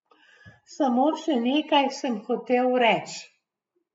Samo še nekaj sem hotel reč.